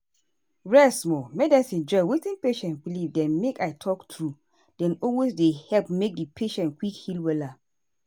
rest small. medicine join wetin patient believe dem make i talk true dey always dey help make di patient quick heal wella.